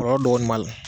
Kɔlɔlɔ dɔɔni b'a la